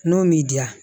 N'o m'i diya